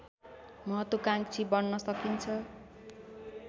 महत्वाकाङ्क्षी बन्न सकिन्छ